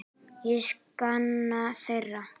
Ég sakna þeirra.